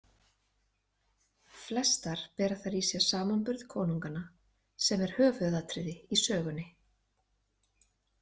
Flestar fela þær í sér samanburð konunganna sem er höfuðatriði í sögunni.